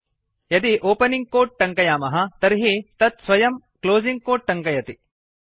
यदि opening quote टङ्कयामः तर्हि तत् स्वयं क्लोसिंग् कोट् टङ्कयति